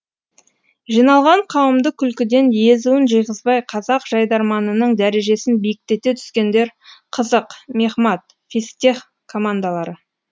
жиналған қауымды күлкіден езуін жиғызбай қазақ жайдарманының дәрежесін биіктете түскендер қызық мехмат физтех командалары